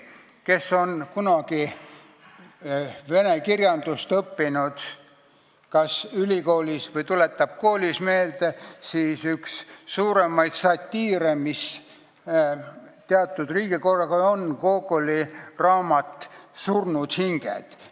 Kes on kunagi ülikoolis vene kirjandust õppinud või saab seda kooliajast meelde tuletada, see teab, et üks suuremaid satiire, mis teatud riigikorra kohta on kirjutatud, on Gogoli raamat "Surnud hinged".